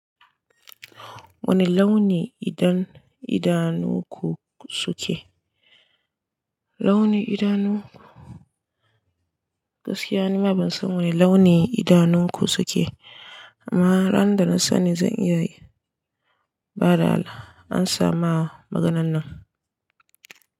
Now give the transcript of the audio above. Wane launi idan idanunku suke? Launi idanunku? Gaskiya ni ma ban san wane launi idanunku suke amma ran da na sani zan iya yi. Ba da da, an sa ma maganan nan.